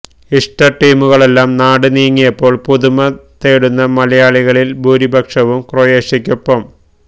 ഇഷ്ട ടീമുകളെല്ലാം നാട് നീങ്ങിയപ്പോൾ പുതുമ തേടുന്ന മലയാളികളിൽ ഭൂരിപക്ഷവും ക്രൊയേഷ്യയ്ക്കൊപ്പം